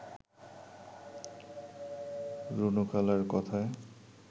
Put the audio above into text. রুনু খালার কথায়